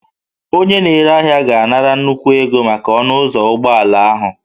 Onye na-ere ahịa ga-anara nnukwu ego maka ọnụ ụzọ ụgbọala ahụ